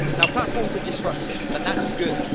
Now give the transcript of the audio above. Platforms are disruptive, but that is good.